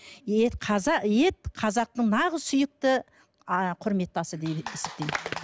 ет ет қазақтың нағыз сүйікті құрметті асы деп есептеймін